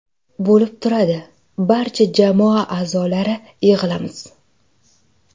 Bo‘lib turadi, barcha jamoa a’zolari yig‘ilamiz.